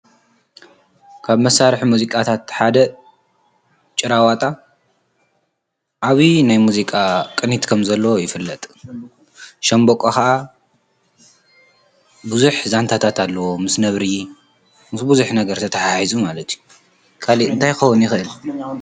ካብ መሳርሒ ሙዚቃታት ሓደ ጭራዋጣ ዓብዪ ናይ ሙዚቃ ቅኒት ከምዘለዎ ይፍለጥ ሻምብቆ ኸኣ ብዙሕ ዛንታታት ኣለዎ ምስ ነብሪ ምስ ብዙሕ ነገር ተተሓሒዙ ማለት እዩ ካሊእ እንታይ ክኸውን ይኽእል።